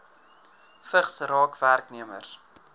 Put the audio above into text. vigs raak werknemers